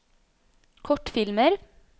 kortfilmer